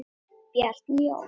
Bjarni Jón.